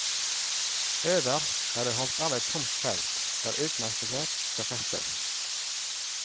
Øverst er det holdt av et tomt felt der utmerkelser skal festes.